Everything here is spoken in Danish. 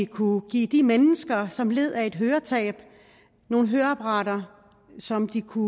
kunne give de mennesker som led af et høretab nogle høreapparater som de kunne